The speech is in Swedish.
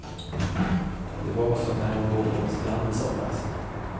Det var som när hon låg på en strand i somras.